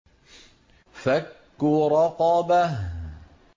فَكُّ رَقَبَةٍ